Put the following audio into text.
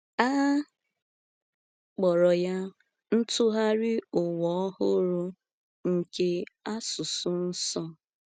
A kpọrọ ya Ntụgharị Ụwa Ọhụrụ nke Asụsụ Nsọ.